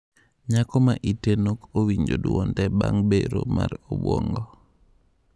Nyako ma ite nok owinjo duonde bang' bero mar obuongo.